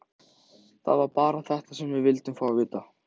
Það var bara þetta sem við vildum fá að vita.